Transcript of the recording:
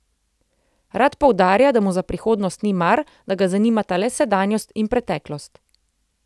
Rad poudarja, da mu za prihodnost ni mar, da ga zanimata le sedanjost in preteklost.